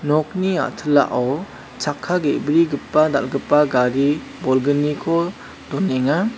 nokni a·tilao chakka ge·brigipa dal·gipa gari bolgniko donenga.